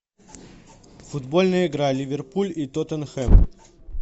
футбольная игра ливерпуль и тоттенхэм